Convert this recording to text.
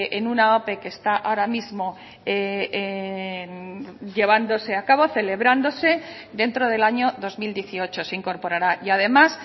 en una ope que está ahora mismo llevándose a cabo celebrándose dentro del año dos mil dieciocho se incorporará y además